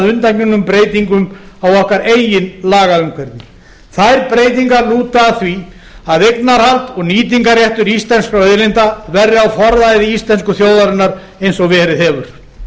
að undangengum breytingum á okkar eigin lagaumhverfi þær breytingar lúta að því að eignarhald og nýtingarréttur íslenskra auðlinda verði á forræði íslensku þjóðarinnar eins og verið hefur